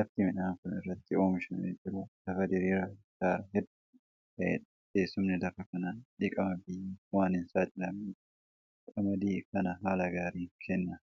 Lafti midhaan kun irratti oomishamee jiru lafa diriiraa hektaara hedduu ta'eedha. Teessumni lafa kanaa dhiqama biyyeef waan hin saaxilamneef qamadii kana haala gaariin kenne.